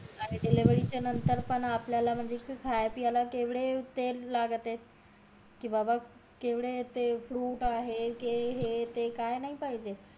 आणि डिलेव्हरीच्या नंतर आपल्याला पण खायला प्याला केवढे ते लागत येत कि बाबा केवढे ते फ्रुट आहेत हे ते काय नाय पाहिजे